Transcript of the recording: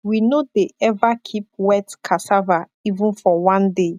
we no dey ever keep wet cassava even for one day